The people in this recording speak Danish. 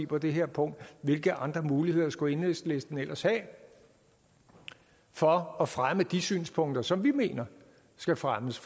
på det her punkt hvilke andre muligheder skulle enhedslisten ellers have for at fremme de synspunkter som vi mener skal fremmes